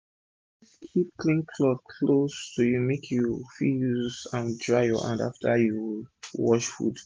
always keep clean cloth close to u make u fit use an dry ur hand after u don wash fud